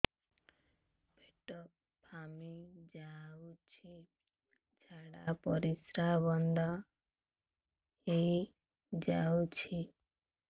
ପେଟ ଫାମ୍ପି ଯାଉଛି ଝାଡା ପରିଶ୍ରା ବନ୍ଦ ହେଇ ଯାଉଛି